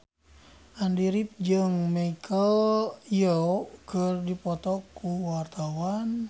Andy rif jeung Michelle Yeoh keur dipoto ku wartawan